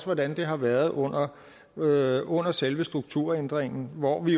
hvordan det har været under været under selve strukturændringen hvor vi